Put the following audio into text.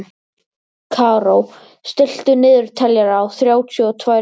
Karó, stilltu niðurteljara á þrjátíu og tvær mínútur.